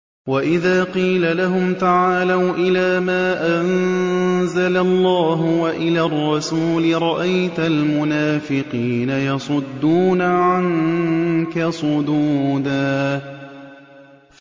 وَإِذَا قِيلَ لَهُمْ تَعَالَوْا إِلَىٰ مَا أَنزَلَ اللَّهُ وَإِلَى الرَّسُولِ رَأَيْتَ الْمُنَافِقِينَ يَصُدُّونَ عَنكَ صُدُودًا